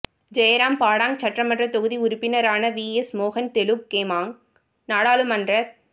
Jairam Padang சட்டமன்றத் தொகுதி உறுப்பினரான விஎஸ் மோகன் தெலுக் கெமாங் நாடாளுமன்றத்